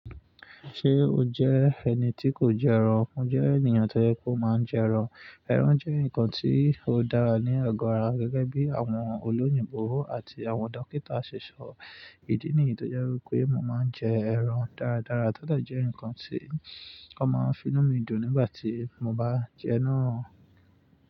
Ṣé o jẹ́ ẹni tí kò jẹ ẹran? Mo jẹ́ ènìyàn tó yẹ pé ó máa ń jẹ ẹran. Ẹran jẹ́ nǹkan tí ó dára ní agọ́ ara gẹ́gẹ́ bí àwọn olóyìnbo àti àwọn dókítà ṣe sọ. Ìdí nìyí tó jẹ́ wípé mo máa ń jẹ ẹran dáradára. Tode jẹ́ ǹkan tí wọ́n máa ń fi nù mí dùn nígbà tí mo bá jẹún.